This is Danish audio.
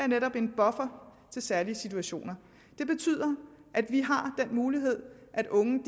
netop er en buffer til særlige situationer det betyder at vi har den mulighed at unge